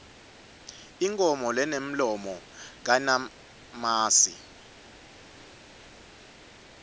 inkhomo lenemlomo kayinamasi